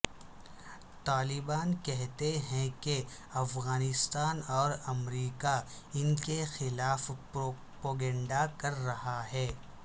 طالبان کہتے ہیں کہ افغانستان اور امریکا ان کے خلاف پروپیگنڈہ کر رہا ہے